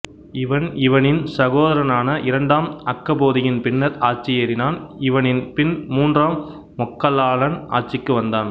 இவன் இவனின் சகோதரனான இரண்டாம் அக்கபோதியின் பின்னர் ஆட்சியேறினான் இவனின் பின் மூன்றாம் மொக்கல்லானன் ஆட்சிக்கு வந்தான்